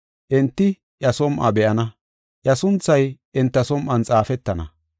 Enti iya som7uwa be7ana; iya sunthay enta som7on xaafetana.